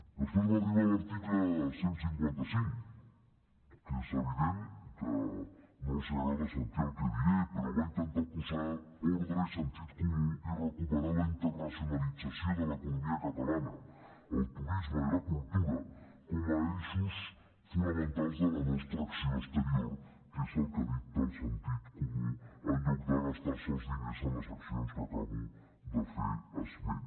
després va arribar l’article cent i cinquanta cinc que és evident que no els agrada sentir el que diré però va intentar posar ordre i sentit comú i recuperar la internacionalització de l’economia catalana el turisme i la cultura com a eixos fonamentals de la nostra acció exterior que és el que dicta el sentit comú en lloc de gastar se els diners en les accions a què acabo de fer esment